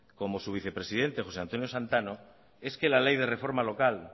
como su vicepresidente jose antonio santano es que la ley de reforma local